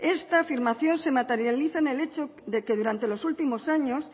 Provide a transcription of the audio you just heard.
esta afirmación se materializa en el hecho de que durante los últimos años